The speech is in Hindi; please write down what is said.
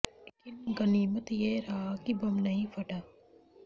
लेकिन गनीमत यह रहा कि बम नहीं फटा